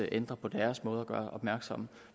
ændrer på deres måde at gøre opmærksom